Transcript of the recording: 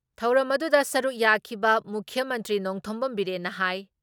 ꯊꯧꯔꯝꯗꯨꯗ ꯁꯔꯨꯛ ꯌꯥꯈꯏꯕ ꯃꯨꯈ꯭ꯌ ꯃꯟꯇ꯭ꯔꯤ ꯅꯣꯡꯊꯣꯝꯕꯝ ꯕꯤꯔꯦꯟꯅ ꯍꯥꯏ